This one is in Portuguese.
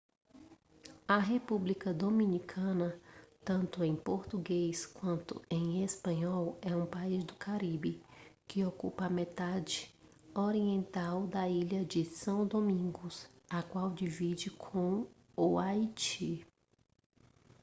a república dominicana tanto em português quanto em espanhol é um país do caribe que ocupa a metade oriental da ilha de são domingos a qual divide com o haiti